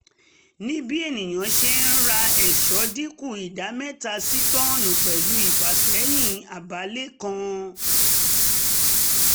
nibi eniyan se ra eso dikun ida meta si tonnu pelu ifaseyin abaale kan